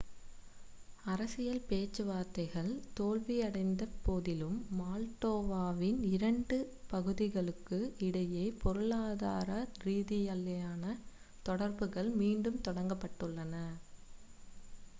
அரசியல் பேச்சுவார்த்தைகள் தோல்வியடைந்த போதிலும் மால்டோவாவின் இந்த இரண்டு பகுதிகளுக்கு இடையே பொருளாதார ரீதியிலான தொடர்புகள் மீண்டும் தொடங்கப்பட்டுள்ளன